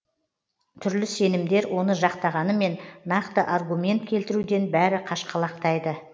түрлі сенімдер оны жақтағанымен нақты аргумент келтіруден бәрі қашқалақтайды